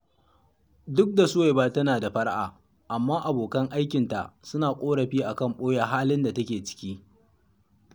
Duk da Suwaiba tana da fara’a, amma abokan aikinta suna ƙorafi a kan ɓoye halin da take ciki